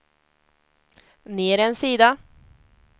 ner en sida